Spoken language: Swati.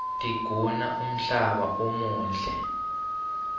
tiguna umhlaba umuhle